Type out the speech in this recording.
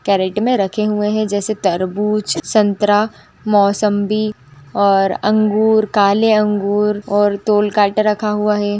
Carat में रखे हुए हैं जैसे तरबूज संतरा मौसम्बी और अंगूर काले अंगूर और तोल कांटा रखा हुआ है।